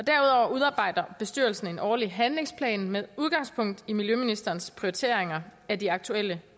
udarbejder bestyrelsen en årlig handlingsplan med udgangspunkt i miljøministerens prioriteringer af de aktuelle